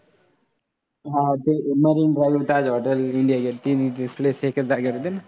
हां ते marine drive, Taj hotel, India gate तिन्ही place एकाच जागेवर आहेत ना?